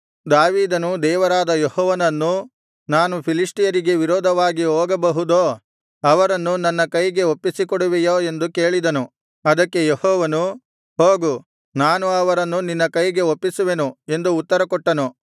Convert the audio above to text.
ದಾವೀದನು ದೇವರಾದ ಯೆಹೋವನನ್ನು ನಾನು ಫಿಲಿಷ್ಟಿಯರಿಗೆ ವಿರೋಧವಾಗಿ ಹೋಗಬಹುದೋ ಅವರನ್ನು ನನ್ನ ಕೈಗೆ ಒಪ್ಪಿಸಿಕೊಡುವಿಯೋ ಎಂದು ಕೇಳಿದನು ಅದಕ್ಕೆ ಯೆಹೋವನು ಹೋಗು ನಾನು ಅವರನ್ನು ನಿನ್ನ ಕೈಗೆ ಒಪ್ಪಿಸುವೆನು ಎಂದು ಉತ್ತರ ಕೊಟ್ಟನು